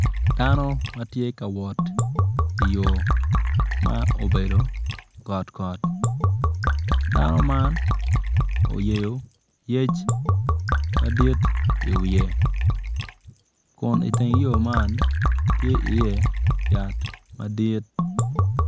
Dano ma tye ka wot iyo ma obedo gotgot dano man oyeyoyec madit i wiye kun i teng yo man tye iye yat madit/